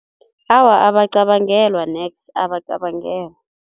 Awa abacabangelwa neks, abacabangelwa.